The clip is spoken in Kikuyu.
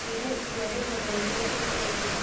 Nduire itua ndĩmũthorie ũmũthĩ